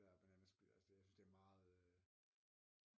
Bananasplit altså det jeg synes det er meget